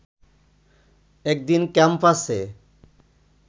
একদিন ক্যাম্পাসে